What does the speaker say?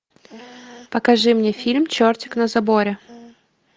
покажи мне фильм чертик на заборе